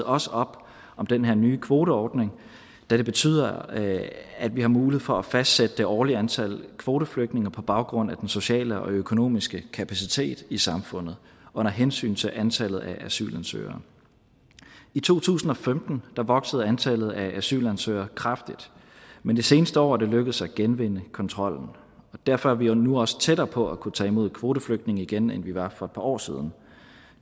også op om den her nye kvoteordning da det betyder at at vi har mulighed for at fastsætte det årlige antal kvoteflygtninge på baggrund af den sociale og økonomiske kapacitet i samfundet under hensyn til antallet af asylansøgere i to tusind og femten voksede antallet af asylansøgere kraftigt men det seneste år er det lykkedes at genvinde kontrollen derfor er vi nu også tættere på at kunne tage imod kvoteflygtninge igen end vi var for et par år siden